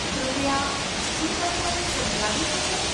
કૃપયા શું તમે મને સમજાવી શકો?